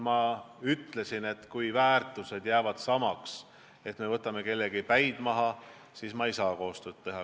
Ma ütlesin, et kui väärtused jäävad samaks, kui tahetakse kellegi päid maha võtta, siis ma ei saa koostööd teha.